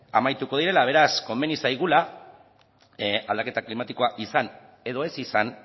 amaituko direla beraz komeni zaigula aldaketa klimatikoa izan edo ez izan